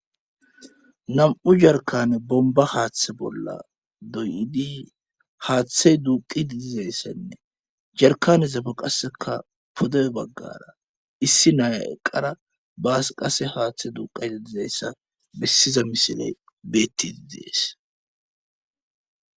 nam7u jarkane bomba haaththe bolla doyidi haaththe duuqi didizayssenne jarkane zape qasseka pode baggara issi naaya eqqara baas qase haaththe duuqi dizayssa bessiza misile beetti didees